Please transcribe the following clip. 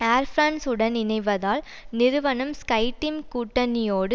Air France உடன் இணைவதால் நிறுவனம் ஸ்கைடீம் கூட்டணியோடு